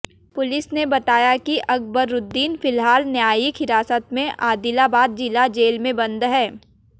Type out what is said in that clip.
police ने बताया कि अकबरूद्दीन फिलहाल न्यायिक हिरासत में आदिलाबाद जिला जेल में बंद हैं